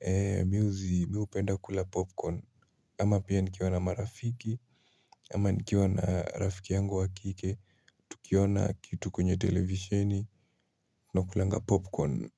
ee music miupenda kula popcorn ama pia nikiwa na marafiki ama nikiwa na rafiki yangu wa kike tukiona kitu kwenye televisheni nakulanga popcorn.